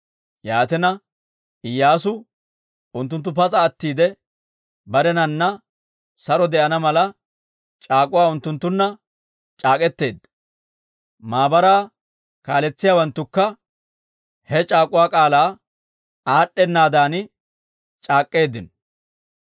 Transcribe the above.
Yaatina, Iyyaasu unttunttu pas'a attiide barenana saro de'ana mala c'aak'uwa unttunttunna c'aak'k'eteedda; maabaraa kaaletsiyaawanttukka he c'aak'uwa k'aalaa aad'd'enaaddan c'aak'k'eeddino.